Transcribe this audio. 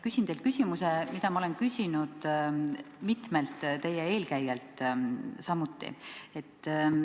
Küsin teilt küsimuse, mida ma olen küsinud mitmelt teie eelkäijalt samuti.